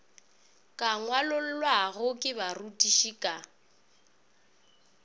ka ngwalollwago ke barutiši ka